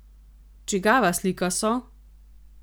Čigava slika so?